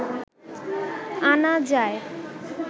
আনা যায়